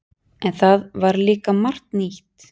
En það var líka margt nýtt.